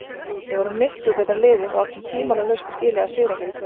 Við vorum miklu betra liðið og áttum tvímælalaust skilið að sigra hér í kvöld.